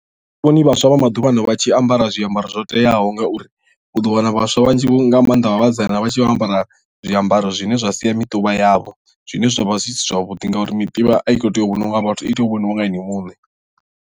A thi vhoni uri vhaswa vha maḓuvhano vha tshi ambara zwiambaro zwo teaho ngauri u ḓo wana vhaswa vhanzhi nga maanḓa vha vhasidzana vha tshi vho ambara zwiambaro zwine zwa sia miṱuvha yavho zwine zwa vha zwi si zwavhuḓi ngauri miṱuvha a i kho tea u vhoniwa nga vhathu i tea u vhoniwa nga ini muṋe.